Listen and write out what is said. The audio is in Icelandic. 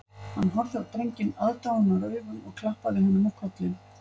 Hann horfði á drenginn aðdáunaraugum og klappaði honum á kollinn